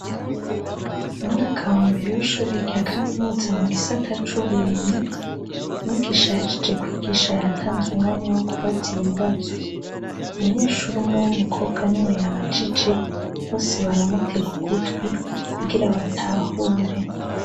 Umwaka wambere wa kaminuza mugisata cuburimyi umwigisha yahejej kwigisha yatanze umwanya wo kubaza ibibazo umunyeshure umwe wumukobwa niwe yabajije bose baramutega ugutwi kugira batahure